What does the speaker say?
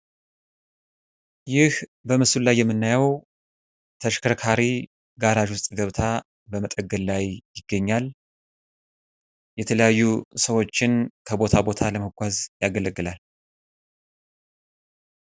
ይህ በምስሉ ላይ የምናየዉ ተሽከርካሪ ጋራጅ ዉስጥ ገብታ በመጠገን ላይ ይገኛል። የተለያዩ ሰዎችን ከቦታ ቦታ ለማጓጓዝ ያገለግላል።